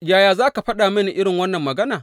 Yaya za ka faɗa mini irin wannan magana.